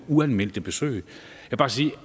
uanmeldte besøg